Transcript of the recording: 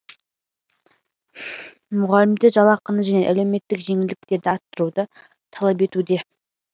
мұғалімдер жалақыны және әлеуметтік жеңілдіктерді арттыруды талап етуде